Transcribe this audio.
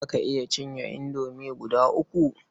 Za ka iya cinye indomie guda uku?